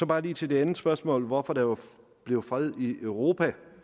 bare lige til det andet spørgsmål om hvorfor der blev fred i europa